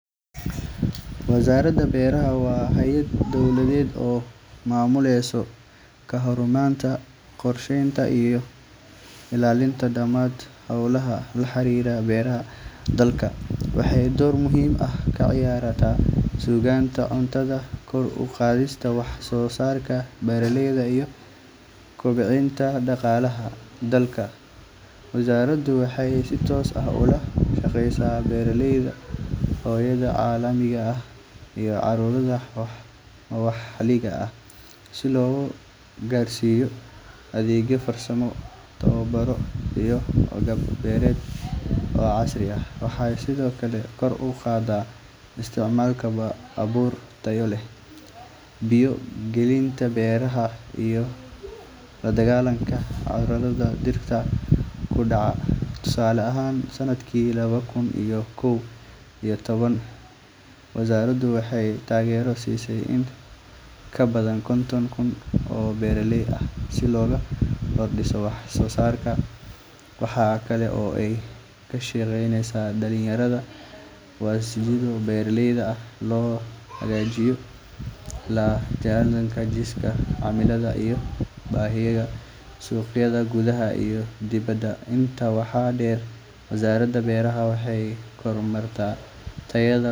Wasaaradda Beeraha waa hay’ad dowladeed oo mas’uul ka ah horumarinta, kormeerka, iyo hirgelinta siyaasadaha ku saabsan wax-soosaarka beeraha ee dalka. Shaqooyinka ugu muhiimsan ee Wasaaradda waxaa ka mid ah dhiirrigelinta tacabka beeraleyda, bixinta tababaro iyo qalab casri ah si kor loogu qaado wax-soosaarka, daryeelka dhulka beeraleyda si ay ugu beeraan si waarta, iyo ilaalinta deegaanka. Sidoo kale, Wasaaradda waxay xoojisaa cilmi-baarista la xiriirta beeraha, si loo helo habab cusub oo lagu kordhin karo wax-soosaarka iyadoo la ilaalinayo tayada iyo badbaadada cuntada. Waxay si dhow ula shaqaysaa hay’adaha maxalliga iyo kuwa caalamiga ah si loo helo taageero farsamo iyo mid dhaqaale, loogana faa’iidaysto khibradaha dalalka kale.